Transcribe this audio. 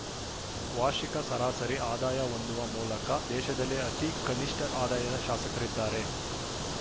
ವಾರ್ಷಿಕ ಸರಾಸರಿ ಆದಾಯ ಹೊಂದುವ ಮೂಲಕ ದೇಶದಲ್ಲೇ ಅತಿ ಕನಿಷ್ಠ ಆದಾಯದ ಶಾಸಕರಾಗಿದ್ದಾರೆ